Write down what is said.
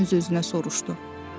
Yenə öz-özünə soruşdu.